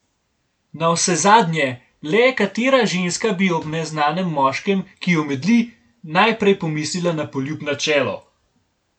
Navsezadnje, le katera ženska bi ob neznanem moškem, ki omedli, najprej pomislila na poljub na čelo!